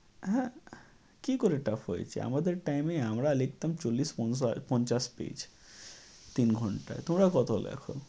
হ্যাঁ, কী করে tough হয়েছে? আমাদের time এ আমরা লিখতাম চল্লিশ পঞ্চা~ পঞ্চাশ page তিন ঘণ্টায়। তোমরা কত লেখ?